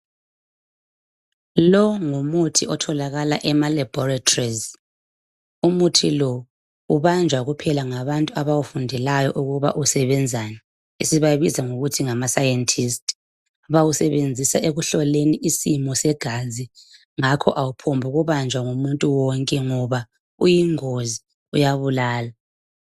Longumuthi otholakala ema laboratories umuthi lo ubanjwa kuphela ngabantu abawufundelayo ukuba usebenzani sibabiza ngokuthi ngama scientist bawusebenzisa ekuhloleni isimo segazi ngakho awuphongu banjwa ngumuntu wonke ngoba uyingozi kuyabulala.